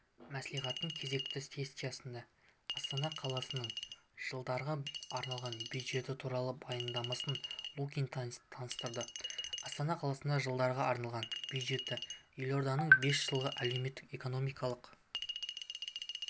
мәслихаттың кезекті сессиясында астана қаласының жылдарға арналған бюджеті туралы баяндамасын лукин таныстырды астана қаласының жылдарға арналған бюджеті елорданың бес жылға әлеуметтік-экономикалық